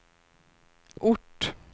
ort